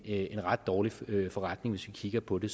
en ret dårlig forretning hvis vi kigger på det